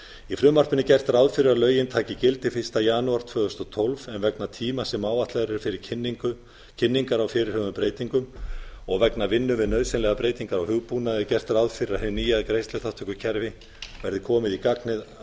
í frumvarpinu er gert ráð fyrir að lögin taki gildi fyrsta janúar tvö þúsund og tólf en vegna tíma sem áætlaður er fyrir kynningar á fyrirhuguðum breytingum og vegna vinnu við nausðynlegra breytingar á hugbúnaði er gert ráð fyrir að hin nýja greiðsluþátttökukerfi verði komið í gagnið að